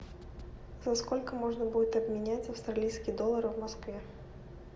за сколько можно будет обменять австралийские доллары в москве